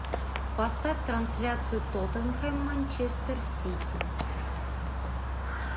поставь трансляцию тоттенхэм манчестер сити